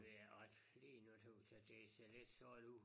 Ja og lige nu tøs jeg det ser lidt sort ud